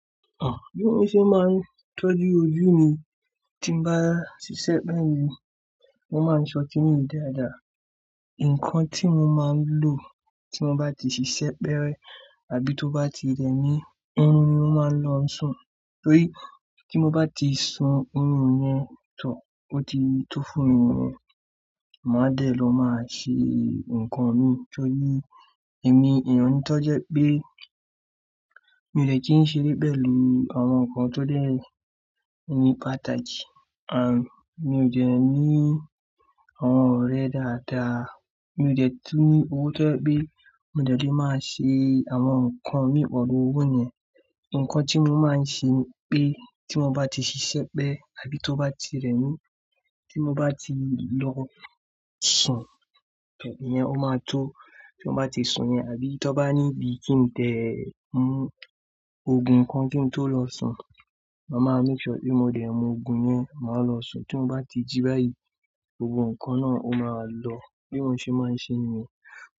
Bí mo ṣe máa ń tọ́jú ojú mi tí n bá ṣiṣẹ́ pẹ́lu, mo máa ń sọ tíì dáadáa. Ǹkan tí mo máa ń lò tí mo bá ti ṣiṣẹ́ pẹ́rẹ àbí tó bá ti rẹ mí, ohún mi mo máa n lọ sùn. Torí tí mo bá ti sun oorún yẹn to ó ti tó fún mi, màá dẹ̀ lọ màá ṣe ǹkan mi. Tóri ẹ̀mí èèyàn n tọ́je pé mi ò dẹ́ tí ń ṣe lẹ́bẹ̀li àwọn nǹkan tó dẹ́ ní pàtàkì. Àn, mi ò dẹ̀ ní àwọn ọ̀rẹ́ dáadáa, mi ò dẹ̀ tú ní owó tó yẹ́ pé mi ò dẹ́ kí n máa ṣe àwọn nǹkan mi pẹ̀lú owó yẹn. Ǹkan tí mo máa ń ṣe pé tí mo bá ti ṣiṣẹ́ pẹ́ àbí tó bá ti rẹ mí, tí mo bá ti lọ sùn, í yẹn ó máa tó. Tí mo bá ti sun yẹn, àbí tó bá níbi kí n tẹ́ mú òògùn kan kí n tó lọ sùn, màá máa make sure pé mo dẹ̀ mú òògùn yẹn, màá lọ sùn. Tí m bá ti jí báyìí, gbogbo nǹkan náà ó máa lọ. Bí mo ṣe máa ń ṣe níyen.